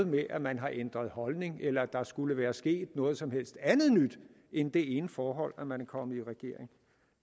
med at man har ændret holdning eller at der skulle være sket noget som helst andet nyt end det ene forhold at man er kommet i regering